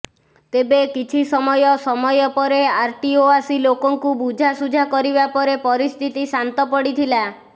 ତେବେ କିଛି ସମୟ ସମୟ ପରେ ଆରଟିଓ ଆସି ଲୋକଙ୍କୁ ବୁଝାସୁଝା କରିବା ପରେ ପରିସ୍ଥିତି ଶାନ୍ତ ପଡ଼ିଥିଲା